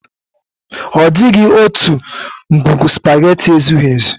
Ọ dịghị otu ngwugwu sụpaghetị ezughi ezu.